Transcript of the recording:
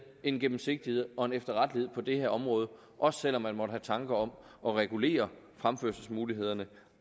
en gennemsigtighed og en efterrettelighed på det her område også selv om man måtte have tanker om at regulere fremførselsmulighederne